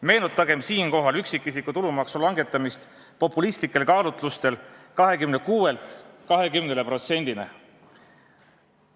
" Meenutagem siinkohal üksikisiku tulumaksu langetamist populistlikel kaalutlustel 26%-lt 20%-le.